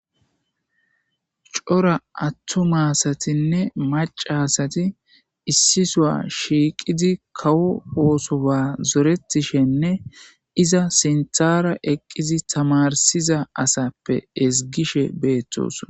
Cora attu maasatinne macasati issisoa shiiqidi kawo oosoba zoretishenne iza sinthara eqqizi tamarsiza asappe ezgishe beettosa.